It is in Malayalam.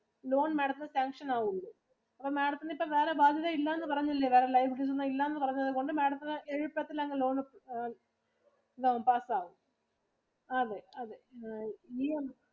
loan Madam ത്തിനു sanction ആവുള്ളൂ. അപ്പം Madam ത്തിനു ഇപ്പൊ വേറെ ബാധ്യത ഇല്ല എന്ന് പറഞ്ഞില്ലേ. Madam liability ഒന്നും ഇല്ലന്ന് പറഞ്ഞത് കൊണ്ട് Madam ത്തിനു credit personal loan ആ pass ആവും അതെ അതെ